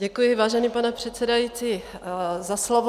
Děkuji, vážený pane předsedající, za slovo.